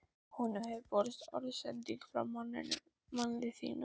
Honum hefur borist orðsending frá manni þínum.